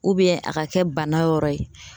a ka kɛ bana yɔrɔ ye